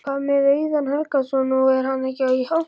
Hvað með Auðun Helgason, nú er hann ekki í hópnum?